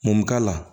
Mun k'a la